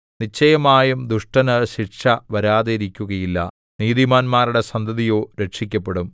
നിശ്ചയമായും ദുഷ്ടനു ശിക്ഷ വരാതിരിക്കുകയില്ല നീതിമാന്മാരുടെ സന്തതിയോ രക്ഷിക്കപ്പെടും